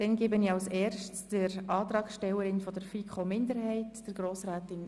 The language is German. Können wir diese zusammen beraten und dann auch gesamthaft darüber abstimmen?